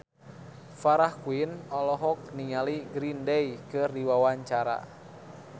Farah Quinn olohok ningali Green Day keur diwawancara